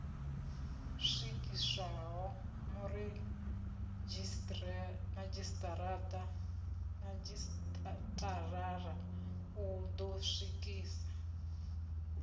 swikiswaho muredzhisitarara u ḓo swikisa